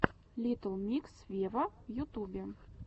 литтл микс вево в ютубе